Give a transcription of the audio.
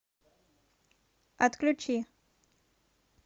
отключи